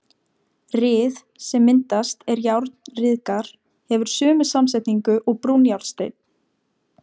Ryð, sem myndast er járn ryðgar, hefur sömu samsetningu og brúnjárnsteinn.